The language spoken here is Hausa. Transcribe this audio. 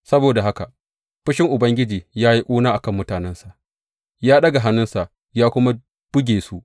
Saboda haka fushin Ubangiji ya yi ƙuna a kan mutanensa; ya ɗaga hannunsa ya kuma buge su.